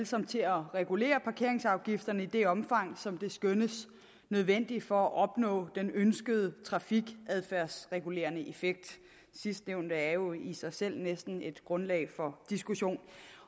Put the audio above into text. som til at regulere parkeringsafgifterne i det omfang som det skønnes nødvendigt for at opnå den ønskede trafikadfærdsregulerende effekt sidstnævnte er jo i sig selv næsten et grundlag for diskussion